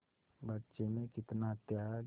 बच्चे में कितना त्याग